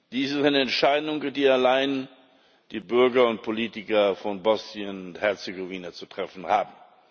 Dies ist eine Entscheidung, die allein die Bürger und Politiker von Bosnien und Herzegowina zu treffen haben.